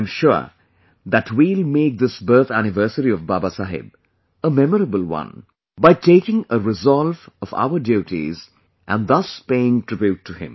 I am sure that we will make this birth anniversary of Babasaheb a memorable one by taking a resolve of our duties and thus paying tribute to him